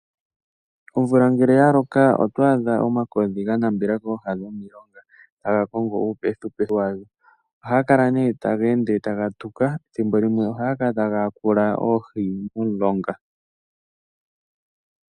Omvula ngele ya loka oto adha omakodhi ga nambela kooha dhomilonga ga ga kongo uupethipethi wadho ohaga kala nee taga ende taga tuka ethimbo limwe ohaga kala taga yakula oohi momulonga.